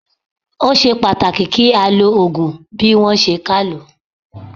Ó ṣe pàtàkì kí á lo Ògùn bí wón ṣe ká lòó.